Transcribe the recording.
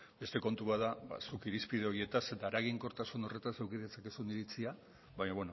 beste kontu bat da ba zuk irizpide horietaz eta eraginkortasun horretaz eduki ditzakezun iritzia baina